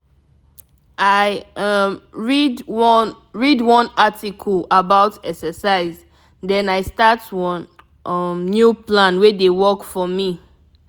i um read one read one article about exercise then i start one um new plan wey dey work for me.